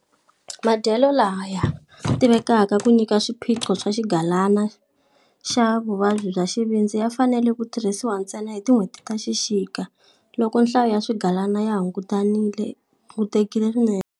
Madyelo laya tivekaka ku nyika swiphiqo swa xigalana xa vuvabyi bya xivindzi ya fanele ku tirhisiwa ntsena hi tin'hweti ta xikika, loko nhlayo ya swigalana yo hungutekile swinene.